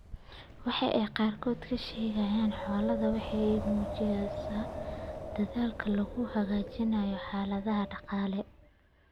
Waxa ay qaarkood ka sheegaan xoolahooda waxa ay muujinaysaa dedaalka lagu hagaajinayo xaaladaha dhaqaale.